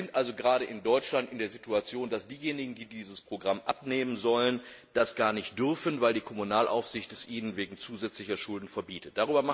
Wir sind also gerade in Deutschland in der Situation, dass diejenigen, die dieses Programm abnehmen sollen, das gar nicht dürfen, weil die Kommunalaufsicht es ihnen wegen zusätzlicher Schulden verbietet.